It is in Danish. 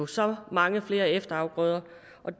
så mange flere efterafgrøder